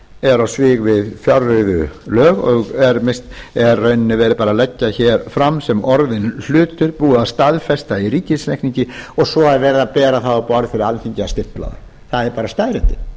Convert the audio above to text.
er á svig við fjárreiðulög og er í rauninni verið að leggja fram sem orðinn hlut búið að staðfesta í ríkisreikningi og svo er verið að bera það á borð fyrir alþingi að stimpla það það eru staðreyndir